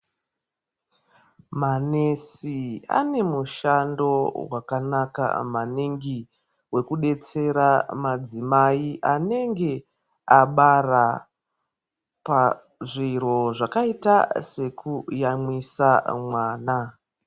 Manesi ane mishando wakanaka maningi wekudetsera madzimai anenge abara pazviro zvakaita se kuyamwisa mwana.